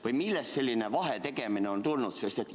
Või millest selline vahetegemine on tulnud?